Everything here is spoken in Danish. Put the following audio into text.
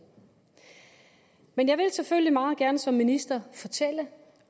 men jeg vil selvfølgelig meget gerne som minister fortælle